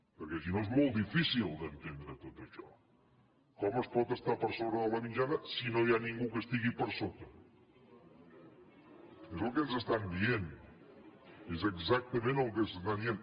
perquè si no és molt difícil d’entendre tot això com es pot estar per sobre de la mitjana si no hi ha ningú que hi estigui per sota és el que ens estan dient és exactament el que ens estan dient